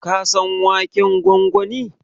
Ka san waken gwangwani?